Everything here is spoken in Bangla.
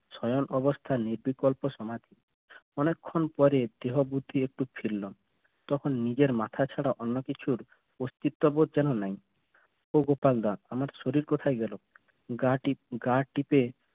সয়ন অবস্থায় নির্বিকল্প সামাধি অনেকক্ষণ পরে দেহ বুদ্ধি একটু ফেললো তখন নিজের মাথা ছাড়া অন্য কিছুর অস্তিত্ব বোধ যেন নেই ও গোপালদা আমার শরীর কোথায় গেল? গা টিপ গা টিপে